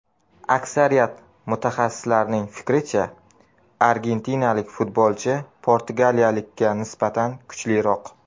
Aksariyat mutaxassislarning fikricha, argentinalik futbolchi portugaliyalikka nisbatan kuchliroq.